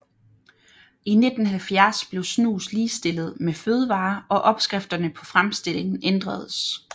I 1970 blev snus ligestillet med fødevarer og opskrifterne på fremstillingen ændredes